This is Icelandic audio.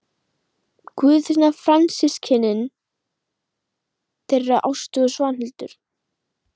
Guðfinna frændsystkin þeirra Ástu og Svanhildar.